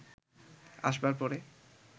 আসবার পরে